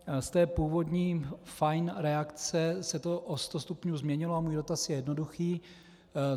Z té původní fajn reakce se to o sto stupňů změnilo a můj dotaz je jednoduchý.